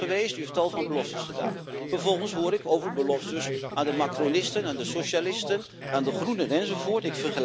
U bent bij ons geweest en u heeft tal van beloftes gedaan. Vervolgens hoor ik over beloftes aan de macronisten, aan de socialisten, aan de groenen enzovoort.